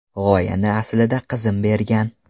G‘oyani aslida qizim bergan.